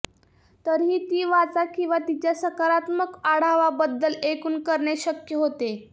तरीही ती वाचा किंवा तिच्या सकारात्मक आढावा बद्दल ऐकून करणे शक्य होते